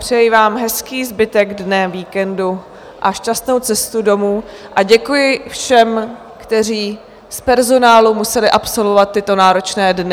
Přeji vám hezký zbytek dne, víkendu a šťastnou cestu domů, a děkuji všem, kteří z personálu museli absolvovat tyto náročné dny.